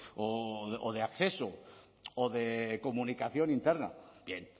o de acceso o de comunicación interna bien